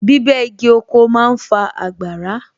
Bíbẹ́ igi oko ma ń fa àgbàrá